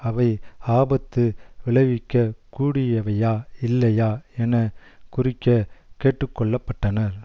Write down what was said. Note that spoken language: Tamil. அவை ஆபத்து விளைவிக்க கூடியவையா இல்லையா என குறிக்க கேட்டுக்கொள்ளப்பட்டனர்